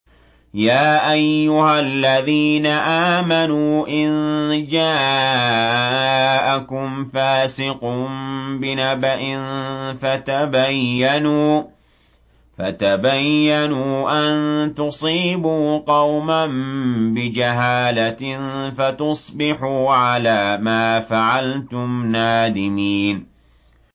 يَا أَيُّهَا الَّذِينَ آمَنُوا إِن جَاءَكُمْ فَاسِقٌ بِنَبَإٍ فَتَبَيَّنُوا أَن تُصِيبُوا قَوْمًا بِجَهَالَةٍ فَتُصْبِحُوا عَلَىٰ مَا فَعَلْتُمْ نَادِمِينَ